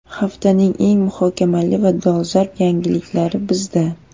Haftaning eng muhokamali va dolzarb yangiliklari bizda.